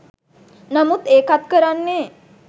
නමුත් ඒකත් කරන්නෙ